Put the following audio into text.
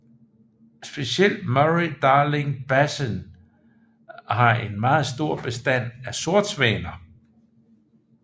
Specielt Murray Darling Basin har en meget stor bestand af sortsvaner